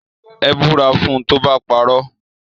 Ẹ búra fún tó bá parọ́.